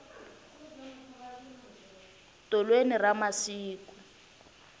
tolweni ra masiku